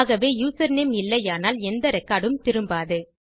ஆகவே யூசர்நேம் இல்லையானால் எந்த ரெக்கார்ட் உம் திரும்பாது